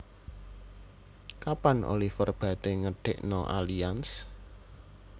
Kapan Oliver Bate ngedekno Allianz